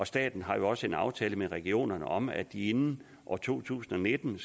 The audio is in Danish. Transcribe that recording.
staten har jo også en aftale med regionerne om at inden to tusind og nitten